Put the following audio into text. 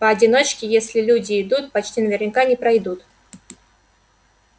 по одиночке если люди идут почти наверняка не пройдут